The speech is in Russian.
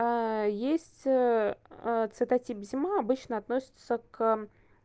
есть а цветотип зима обычно относится к